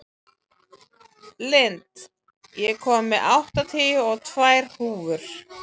Lind, ég kom með áttatíu og tvær húfur!